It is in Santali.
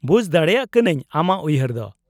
-ᱵᱩᱡᱽ ᱫᱟᱲᱮᱭᱟᱜ ᱠᱟᱹᱱᱟᱹᱧ ᱟᱢᱟᱜ ᱩᱭᱦᱟᱹᱨ ᱫᱚ ᱾